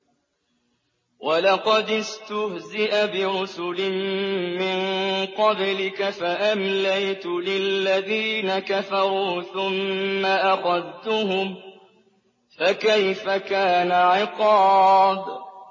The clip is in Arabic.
وَلَقَدِ اسْتُهْزِئَ بِرُسُلٍ مِّن قَبْلِكَ فَأَمْلَيْتُ لِلَّذِينَ كَفَرُوا ثُمَّ أَخَذْتُهُمْ ۖ فَكَيْفَ كَانَ عِقَابِ